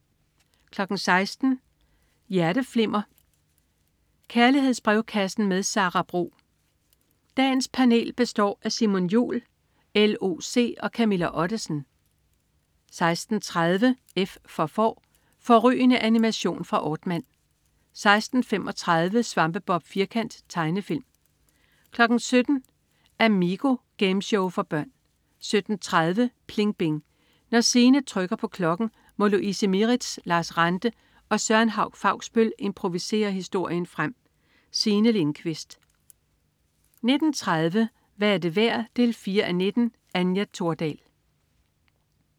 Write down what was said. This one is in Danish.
16.00 Hjerteflimmer. Kærlighedsbrevkassen med Sara Bro. Dagens panel består af Simon Jul, LOC og Camilla Ottesen 16.30 F for Får. Fårrygende animation fra Aardman 16.35 Svampebob Firkant. Tegnefilm 17.00 Amigo. Gameshow for børn 17.30 PLING BING. Når Signe trykker på klokken, må Louise Mieritz, Lars Ranthe og Søren Hauch-Fausbøll improvisere historien frem. Signe Lindkvist 19.30 Hvad er det værd 4:19. Anja Thordal